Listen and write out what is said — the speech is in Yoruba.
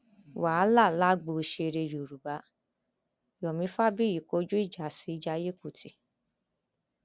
wàhálà lágbo òṣèré yorùbá yomi rabiyi kọjú ìjà sí jaiye kùtì